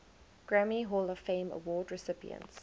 grammy hall of fame award recipients